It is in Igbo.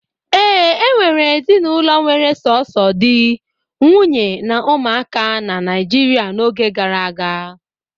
Ee, enwere ezinụlọ were sọsọ di, nwunye na ụmụaka na Naịjirịa n'oge gara aga.